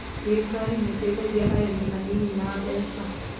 Thirikari nĩ ĩteithagia arĩmi anini na mbeca.